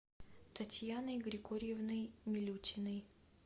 татьяной григорьевной милютиной